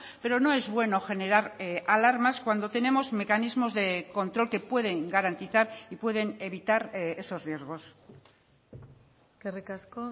pero no es bueno generar alarmas cuando tenemos mecanismos de control que pueden garantizar y pueden evitar esos riesgos eskerrik asko